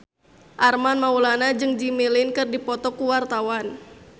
Armand Maulana jeung Jimmy Lin keur dipoto ku wartawan